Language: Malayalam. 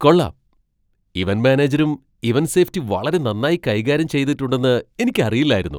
കൊള്ളാം, ഇവന്റ് മാനേജരും ഇവന്റ് സേഫ്റ്റി വളരെ നന്നായി കൈകാര്യം ചെയ്തിട്ടുണ്ടെന്ന് എനിക്ക് അറിയില്ലായിരുന്നു !